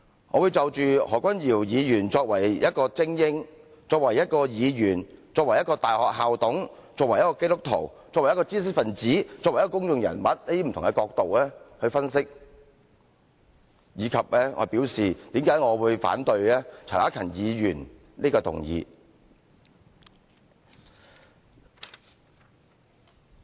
我會就着何君堯議員作為一位精英、作為一位議員、作為一位大學校董、作為一位基督徒、作為一位知識分子、作為一位公眾人物等，不同的角度來分析，以及我為何反對陳克勤議員這項議案。